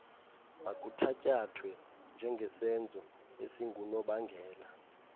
makuthatyathwe njengesenzo esingunobangela